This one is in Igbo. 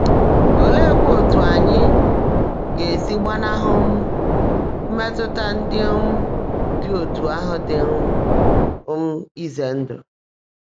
Oleekwa otú anyị ga-esi gbanahụ um mmetụta ndị um dị otú ahụ dị um um ize ndụ?